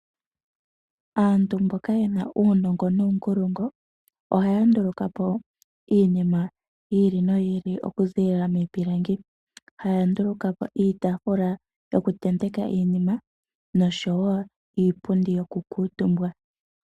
Aantu mboka yena uunongo nuunkulungu ohaya nduluka po iinima yi ili noyi ili oku ziilila miipilangi. Oya nduluka po iitaafula yoku tenteka iinima nosho wo iipundi yoku kuutumbwa.